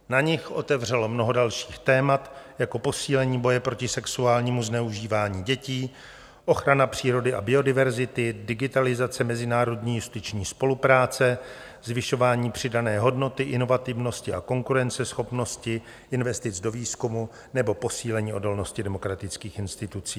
Na nich otevřelo mnoho dalších témat, jako posílení boje proti sexuálnímu zneužívání dětí, ochrana přírody a biodiverzity, digitalizace mezinárodní justiční spolupráce, zvyšování přidané hodnoty, inovativnosti a konkurenceschopnosti, investic do výzkumu nebo posílení odolnosti demokratických institucí.